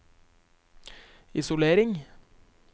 isolering